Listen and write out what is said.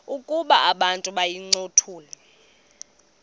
ukuba abantu bayincothule